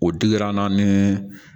O dira an na ni